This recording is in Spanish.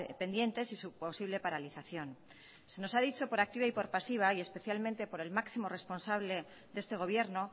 pendientes y su posible paralización se nos ha dicho por activa y por pasiva y especialmente por el máximo responsable de este gobierno